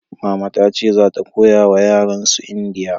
mama ta ce za ta koya yaren su indiya